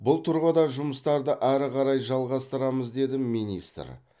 бұл тұрғыда жұмыстарды ары қарай жалғастырамыз деді министр